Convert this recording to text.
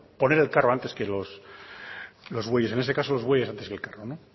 poner el carro antes que los bueyes en ese caso los bueyes antes que el carro